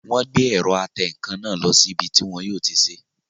Wọ́n gbé ẹ̀rọ atẹǹkan náà lọ sí ibi tí wọn yóò ti sé